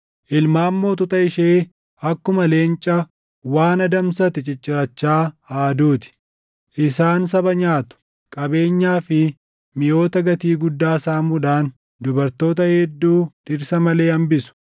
Ilmaan mootota ishee akkuma leenca waan adamsate ciccirachaa aaduu ti; isaan saba nyaatu; qabeenyaa fi miʼoota gatii guddaa saamuudhaan dubartoota hedduu dhirsa malee hambisu.